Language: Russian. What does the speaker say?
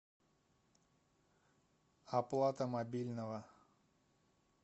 оплата мобильного